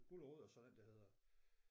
Guld & Rod og så den der hedder